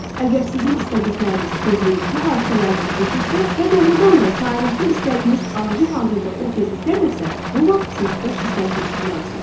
Əgər sizin istədikləriniz tezliyi bu hadisələrdən keçirsə və doğrudan da kainatın istədiyiniz arzu hazırda o tezlikdədirsə, bu vaxt siz xoş hisslər keçirməlisiniz.